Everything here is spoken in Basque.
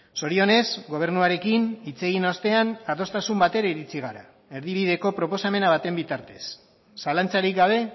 zorionez gobernuarekin hitz egin ostean adostasun batera iritsi gara erdibideko proposamen baten bitartez zalantzarik gabe